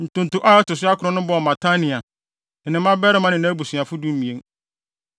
Ntonto a ɛto so akron no bɔɔ Matania, ne ne mmabarima ne nʼabusuafo (12)